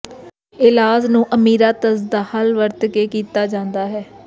ਇਲਾਜ ਨੂੰ ਅਮੀਰਾਤਜ਼ ਦਾ ਹੱਲ ਵਰਤ ਕੇ ਕੀਤਾ ਜਾਂਦਾ ਹੈ